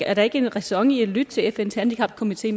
er der ikke ræson i at lytte til fns handicapkomité